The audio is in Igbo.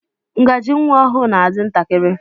Ngaji nwa ọhụụ na-adi ntakịrị.